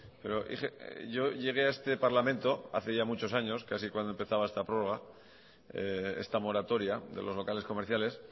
pero yo llegué a este parlamento hace ya muchos años casi cuando empezaba esta prórroga esta moratoria de los locales comerciales